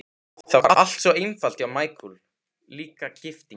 Það var allt svo einfalt hjá Michael, líka gifting.